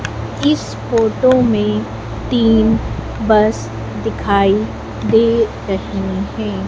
इस फोटो में तीन बस दिखाई दे रहीं हैं।